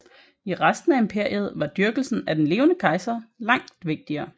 I resten af imperiet var dyrkelsen af den levende kejser langt vigtigere